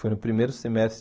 Foi no primeiro semestre